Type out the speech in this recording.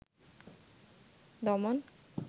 দমন